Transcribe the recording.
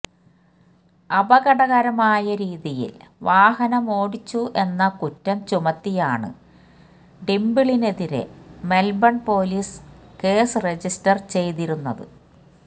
അപകടകരമായ രീതിയിൽ വാഹനമോടിച്ചു എന്ന കുറ്റം ചുമത്തിയാണ് ഡിംപിളിനെതിരെ മെൽബൺ പോലീസ് കേസ് രജിസ്റ്റർ ചെയ്തിരുന്നത്